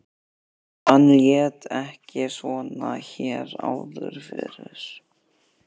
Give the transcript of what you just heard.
Hann lét ekki svona hér áður fyrr.